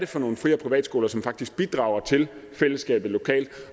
for nogle fri og privatskoler som faktisk bidrager til fællesskabet lokalt